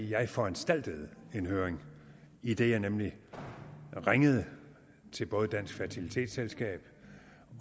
jeg foranstaltede en høring idet jeg nemlig ringede til både dansk fertilitetsselskab